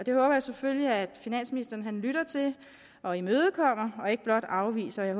jeg selvfølgelig at finansministeren lytter til og imødekommer og ikke blot afviser jeg